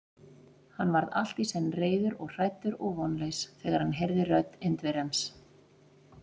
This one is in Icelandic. Hann varð allt í senn reiður og hræddur og vonlaus, þegar hann heyrði rödd Indverjans.